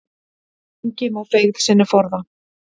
Engi má feigð sinni forða.